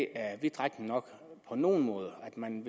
er vidtrækkende nok på nogle måder og at man